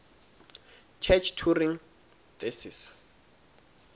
church turing thesis